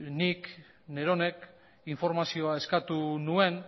nik neronek informazioa eskatu nuen